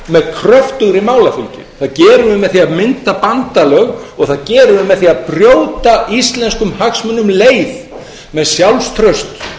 kröftugri málafylgju það gerum við með því að mynda bandalög og það gerum við með því að brjóta íslenskum hagsmunum leið með sjálfstrausti